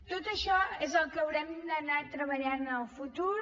tot això és el que haurem d’anar treballant en el futur